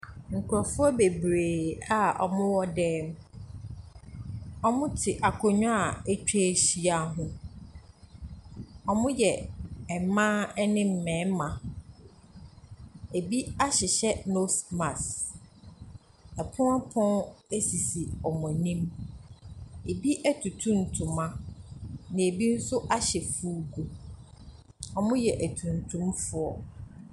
Nkurɔfoɔ bebree a wɔwɔ dan mu, wɔte akonnwa a atwa ahyia ho. Wɔyɛ mmaa ne mmarima. Bi hyehyɛ nose mask. Pono pono sisi wɔn anim, binom atutu ntoma, na bi nso ahyɛ fugu. Wɔyɛ atuntumfo.